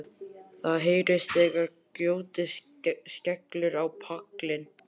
Það heyrist þegar grjótið skellur á pallinn.